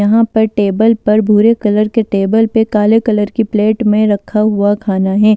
यहां पर टेबल पर भूरे कलर के टेबल पर काले कलर की प्लेट में रखा हुआ खाना है।